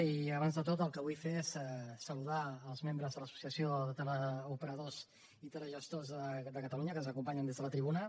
i abans de tot el que vull fer és saludar els membres de l’associació de teleoperadors i telegestors de catalunya que ens acompanyen des de la tribuna